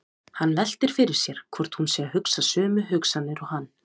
Hann veltir fyrir sér hvort hún sé að hugsa sömu hugsanir og hann.